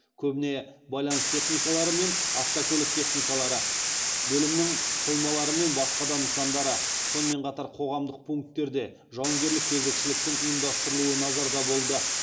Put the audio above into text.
көбіне байланыс техникалары мен автокөлік техникалары бөлімнің қоймалары мен басқа да нысандары сонымен қатар командалық пункттерде жауынгерлік кезекшіліктің ұйымдастырылуы назарда болды